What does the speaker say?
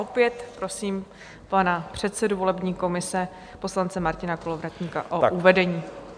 Opět prosím pana předsedu volební komise poslance Martina Kolovratníka o uvedení.